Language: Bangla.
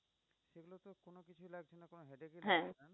হ্যাঁ